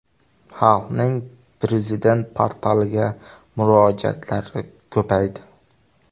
Xalqning Prezident portaliga murojaatlari ko‘paydi.